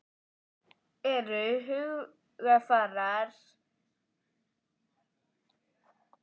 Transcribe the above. Eru hugarfar leikmanna eins?